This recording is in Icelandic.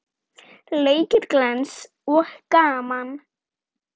Leikir glens og gaman.